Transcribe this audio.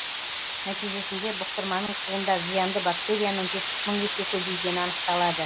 нәтижесінде бұқтырманың суында зиянды бактерияның жетпіс мың есе көбейгені анықталады